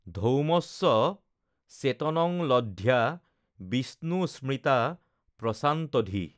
ধৌম্যশ্চ চেতনংলধ্ব্যা বিষ্ণু স্মৃত্বা প্ৰশান্তধীঃ